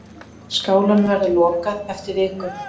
Skálanum verður lokað eftir viku.